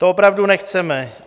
To opravdu nechceme.